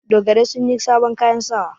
Dogarai sun yi sabon kayan sawa.